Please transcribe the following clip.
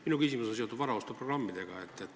Minu küsimus on seotud varaostuprogrammidega.